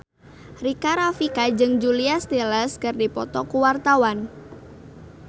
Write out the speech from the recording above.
Rika Rafika jeung Julia Stiles keur dipoto ku wartawan